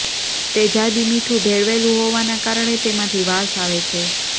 તેજાબી મીઠું ભેળવેલું હોવાના કારણે તેમાંથી વાસ આવે છે